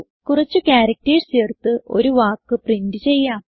കുറച്ച് ചാർക്ടർസ് ചേർത്ത് ഒരു വാക്ക് പ്രിന്റ് ചെയ്യാം